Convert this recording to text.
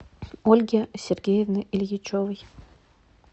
ольги сергеевны ильичевой